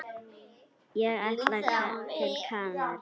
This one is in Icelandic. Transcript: Ég ætla til Kanarí.